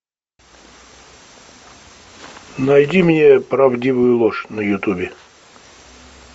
найди мне правдивую ложь на ютубе